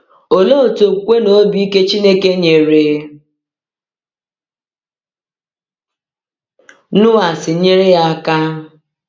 Olee otú okwukwe na obi ike Chineke nyere Noa si nyere ya aka?